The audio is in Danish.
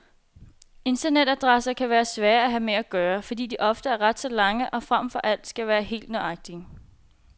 Internetadresser kan være svære at have med at gøre, fordi de ofte er ret så lange og frem for alt skal være helt nøjagtige.